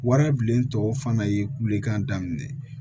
Wari bilen tɔ fana ye kulekan daminɛ